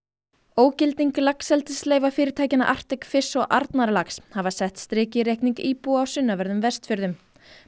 ógilding fyrirtækjanna Arctic Fish og Arnarlax hafa sett strik í reikning íbúa á sunnanverðum Vestfjörðum